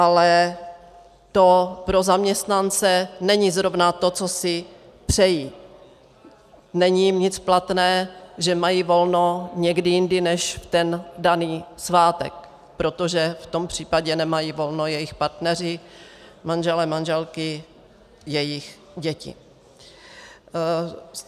Ale to pro zaměstnance není zrovna to, co si přejí, není jim nic platné, že mají volno někdy jindy než v ten daný svátek, protože v tom případě nemají volno jejich partneři, manželé, manželky, jejich děti.